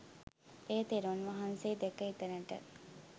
එය තෙරුන් වහන්සේ දැක එතනට